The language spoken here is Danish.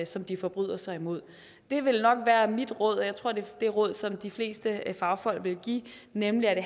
som de forbryder sig mod det vil nok være mit råd og jeg tror det det råd som de fleste fagfolk vil give nemlig at det